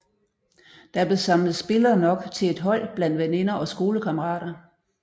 Der blev samlet spillere nok til et hold blandt veninder og skolekammerater